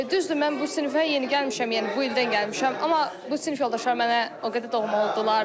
Düzdür mən bu sinifə yeni gəlmişəm, yəni bu ildən gəlmişəm, amma bu sinif yoldaşlarım mənə o qədər doğma oldular.